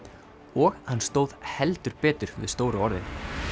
og hann stóð heldur betur við stóru orðin